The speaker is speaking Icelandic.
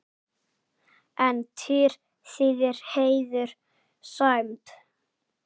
En tír þýðir heiður, sæmd.